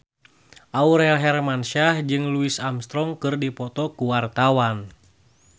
Aurel Hermansyah jeung Louis Armstrong keur dipoto ku wartawan